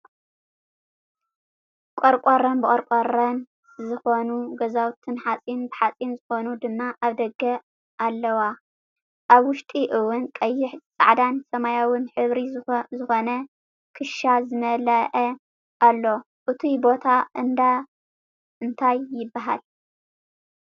ቆርቆረን ብቆርቆረን ዝኮኑ ገዛውትን ሓፂን ብሓፂን ዝኮነ ድማ ኣብ ደገ ኣለዋ። ኣብ ውሽጢ እውን ቀይሕ ፃዕዳን ሰማያዊን ሕብር ዝኮነ ክሻ ዝመለኣ ኣሎ። እቱይ ቦታ እንዳ እንታይ ይብሃል?